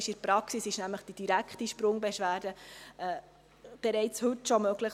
In der Praxis ist die direkte Sprungbeschwerde bereits heute möglich.